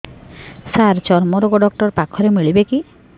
ସାର ଚର୍ମରୋଗ ଡକ୍ଟର ପାଖରେ ମିଳିବେ କି